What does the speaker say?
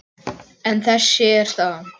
En þessi er staðan.